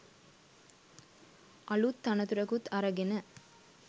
අලුත් තනතුරකුත් අරගෙන.